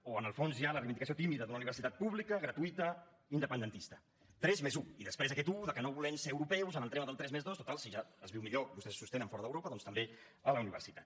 o en el fons hi ha la reivindicació tímida d’una universitat pública gratuïta independentista tres+un i després aquest un que no volem ser europeus en el tema del tres+dos total si ja es viu millor vostès ho sostenen fora d’europa doncs també a la universitat